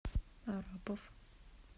арапов